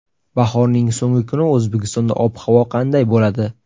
Bahorning so‘nggi kuni O‘zbekistonda ob-havo qanday bo‘ladi?.